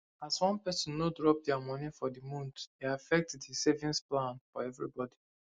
as one person no drop their money for the month e affect the savings plan for everybody